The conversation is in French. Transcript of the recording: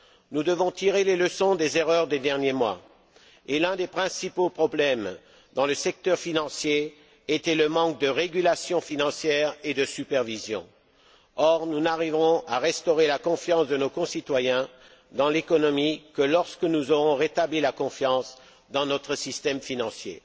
Nous devons tirer les leçons des erreurs des derniers mois, et l'un des principaux problèmes dans le secteur financier était le manque de régulation financière et de supervision. Or, nous n'arriverons à restaurer la confiance de nos concitoyens dans l'économie que lorsque nous aurons rétabli la confiance dans notre système financier.